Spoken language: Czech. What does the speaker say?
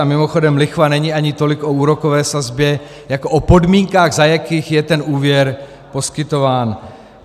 A mimochodem lichva není ani tolik o úrokové sazbě jako o podmínkách, za jakých je ten úvěr poskytován.